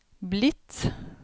blitt